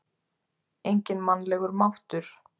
Enginn mannlegur máttur?